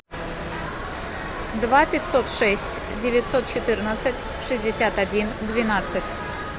два пятьсот шесть девятьсот четырнадцать шестьдесят один двенадцать